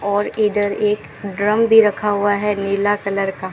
और इधर एक ड्रम भी रखा हुआ है नीले कलर का--